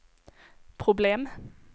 problem